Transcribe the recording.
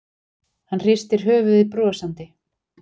Hann hristir höfuðið brosandi.